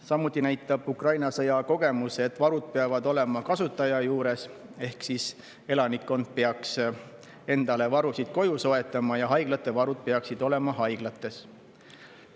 Samuti näitab Ukraina sõja kogemus, et varud peavad olema kasutaja juures ehk elanikkond peaks endale varusid koju soetama ja haiglate varud peaksid olema haiglates.